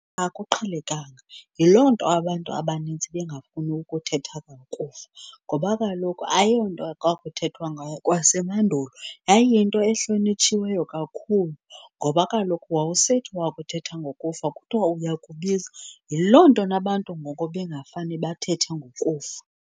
Akuqhelekanga, yiloo nto abantu abanintsi bengafuni ukuthetha ngokufa ngoba kaloku ayonto kwakuthethwa ngayo kwasemandulo. Yayiyinto ehlonitshiweyo kakhulu ngoba kaloku wawusithi wakuthetha ngokufa kuthiwa uyakubiza. Yiloo nto nabantu ngoku bengafane bathethe ngokufa.